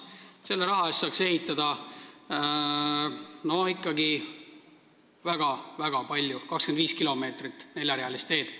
Selle raha eest saaks ehitada ikka väga-väga palju, 25 kilomeetrit neljarealist teed.